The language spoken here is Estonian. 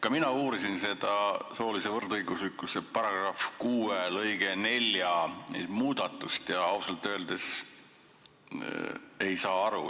Ka mina uurisin seda soolise võrdõiguslikkuse § 6 lõike 4 muudatust ja ausalt öeldes ei saa aru.